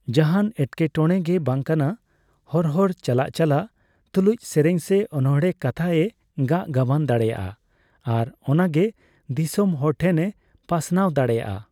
ᱡᱟᱦᱟᱱ ᱮᱴᱠᱮᱴᱚᱲᱮᱜᱮ ᱵᱟᱝᱠᱟᱱᱟ ᱦᱚᱨ ᱦᱚᱨ ᱪᱟᱞᱟᱜ ᱪᱟᱞᱟᱜ ᱛᱩᱞᱩᱡ ᱥᱮᱨᱮᱧ ᱥᱮ ᱚᱱᱚᱬᱦᱮ ᱠᱟᱛᱷᱟ ᱮ ᱜᱟᱜ ᱜᱟᱵᱟᱱ ᱫᱟᱲᱮᱭᱟᱜᱼᱟ ᱟᱨ ᱚᱱᱟᱜᱮ ᱫᱤᱥᱟᱹᱢ ᱦᱚᱲᱴᱷᱮᱱᱮ ᱯᱟᱥᱱᱟᱣ ᱫᱟᱲᱮᱭᱟᱜᱼᱟ ᱾